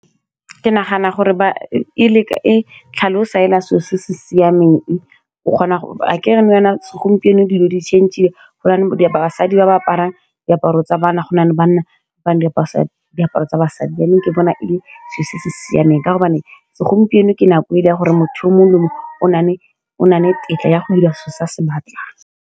Ke nagana gore e leka e tlhalosa fela selo se se siameng o kgona gore re nou jaana segompieno dilo di change-ile go na le di basadi ba aparang diaparo tsa bana go nale banna ba apara di diaparo tsa basadi, yanong ke bona e le selo se se siameng, ka gobane segompieno ke nako e le ya gore motho o mongwe le o mongwe o nne le tetla ya go dira se se se batlang.